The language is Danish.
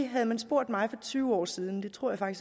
havde man spurgt mig for tyve år siden der tror jeg